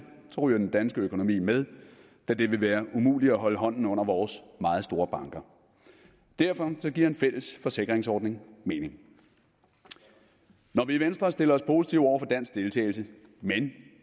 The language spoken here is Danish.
ryger den danske økonomi med da det vil være umuligt at holde hånden under vores meget store banker derfor giver en fælles forsikringsordning mening når vi i venstre stiller os positive over for dansk deltagelse men